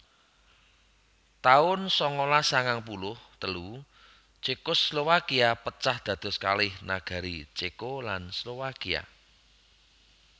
taun sangalas sangang puluh telu Cekoslowakia pecah dados kalih negari Ceko lan Slowakia